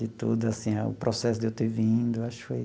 De tudo assim, o processo de eu ter vindo, acho que foi...